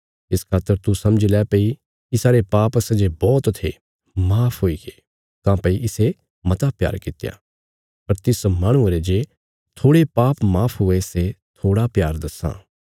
इस खातर तू समझी लै भई इसारे पाप सै जे बौहत थे माफ हुईगे काँह्भई इसे मता प्यार कित्या पर तिस माहणुये रे जे थोड़े पाप माफ हुए सै थोड़ा प्यार दस्सां